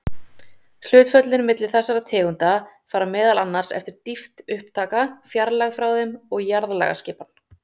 Hlutföllin milli þessara tegunda fara meðal annars eftir dýpt upptaka, fjarlægð frá þeim og jarðlagaskipan.